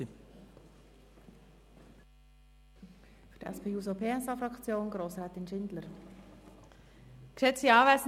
Für die SP-JUSO-PSA-Fraktion hat Grossrätin Schindler das Wort.